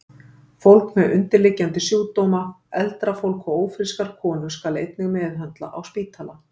Fólk með undirliggjandi sjúkdóma, eldra fólk og ófrískar konur skal einnig meðhöndla á spítala.